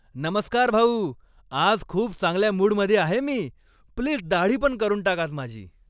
नमस्कार भाऊ. आज खूप चांगल्या मूडमध्ये आहे मी. प्लीज दाढीपण करून टाक आज माझी.